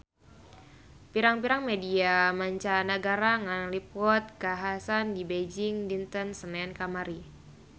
Pirang-pirang media mancanagara ngaliput kakhasan di Beijing dinten Senen kamari